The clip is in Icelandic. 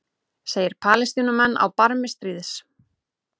Segir Palestínumenn á barmi stríðs